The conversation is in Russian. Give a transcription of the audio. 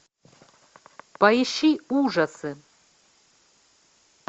поищи ужасы